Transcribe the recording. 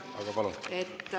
Aga palun!